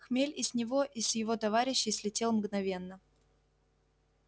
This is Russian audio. хмель и с него и с его товарищей слетел мгновенно